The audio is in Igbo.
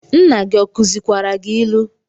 Nna gi ọ kuzikwara gi ilu?